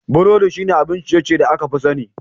Burodi shine abin ciye-ciye da aka fi sani.